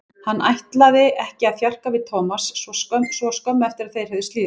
Hann ætlaði ekki að þjarka við Thomas svo skömmu eftir að þeir höfðu slíðrað sverðin.